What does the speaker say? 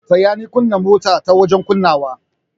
Taya ni kunna motar ta wajen kunnawa.